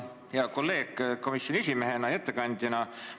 Hea kolleeg komisjoni esimehena ja ettekandjana!